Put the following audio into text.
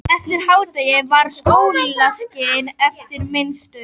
Eftir hádegi var sólskin en mistur.